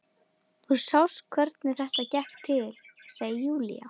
Þú sást hvernig þetta gekk til, segir Júlía.